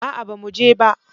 A'a bamu je ba